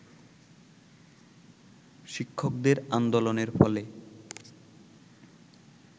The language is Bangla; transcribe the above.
শিক্ষকদের আন্দোলনের ফলে